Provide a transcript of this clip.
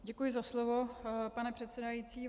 Děkuji za slovo, pane předsedající.